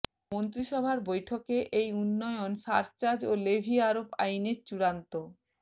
মন্ত্রিসভার বৈঠকে এই উন্নয়ন সারচার্জ ও লেভি আরোপ আইনের চূড়ান্ত